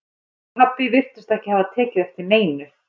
Mamma og pabbi virtust ekki hafa tekið eftir neinu.